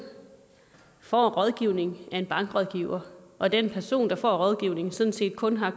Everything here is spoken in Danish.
får en rådgivning af en bankrådgiver og den person der får rådgivningen sådan set kun har